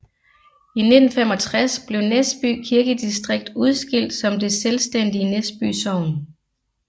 I 1965 blev Næsby Kirkedistrikt udskilt som det selvstændige Næsby Sogn